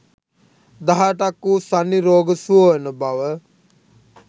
දහ අටක් වූ සන්නි රෝග සුව වන බව